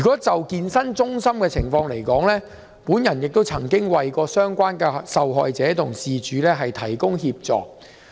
就健身中心的情況來說，我曾為相關受害者提供協助。